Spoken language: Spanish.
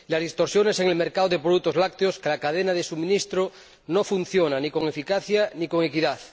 Las distorsiones en el mercado de productos lácteos, cada cadena de suministro, no funcionan ni con eficacia ni con equidad.